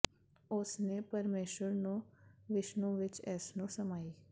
ਉਸ ਨੇ ਪਰਮੇਸ਼ੁਰ ਨੂੰ ਵਿਸ਼ਨੂੰ ਵਿੱਚ ਇਸ ਨੂੰ ਸਮਾਈ